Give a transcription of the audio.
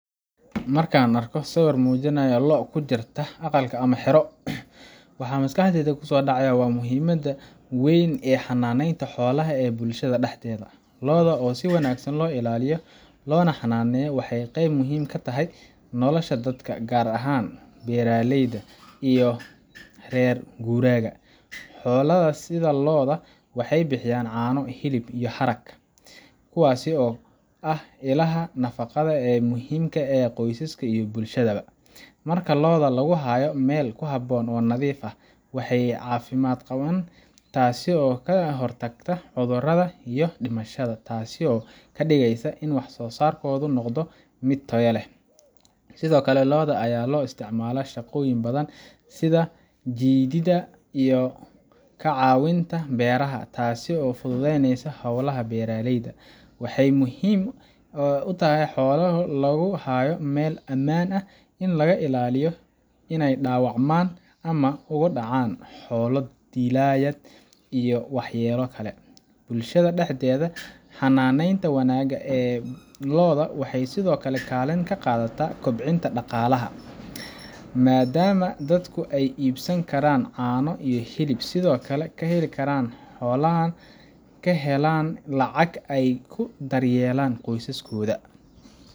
Markan arko sawirkan wuxu mujinaya loo kujirta agaalka ama hiro, wa maskaxdeyda kusodacaya wa muhiimada weyn ee hananeynta xoolaha ee bulshada daxdeda, looda oo si wanagsan loilaliyo waxay qeeb muxiim katahay nolosha dadka gaar ahan beraleyda iyo rer guraga, xoolada sida looda wahay bihiyan cano hilib iyo harag, kuwasi oo ah ilaha nafagada eemuxiimka eh qoysaska iyo bulshada ba, marka looda laguhayo meel kyhaboon oo nadiif ah waxay cafimad gawaan taasi oo kahortagta cudurada iyo dimashada taasi oo kadigeysa in wah sosarkoda nogdo mid tayo leh, Sidhokale looda aya loisticmala shagoyin badan sidha jidida iyo cakawinta beraha, taasi oo fududeyneysa xowlaha beraleyda, waxay muxiim utaxay xoolaha laguhayo meel aman ahinay dawacma ama ogudacan xoola dilayad iyo wax yelo kale, hananeyta wanaga ee looda waxy Sidhokale kaliin kagadata koobcinta dagalaha maada dadku ay ibsankaran cano iyo hilib, Sidhokale kaheli karaan xoolaha kalexan lacag ay kudaryelan qoysaskida.